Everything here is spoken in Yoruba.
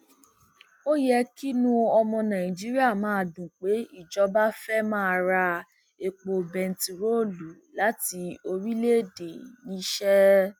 ó yẹ kínú ọmọ nàìjíríà máa dùn pé ìjọba fẹẹ máa ra epo bẹntiróòlù láti orílẹèdè níṣeé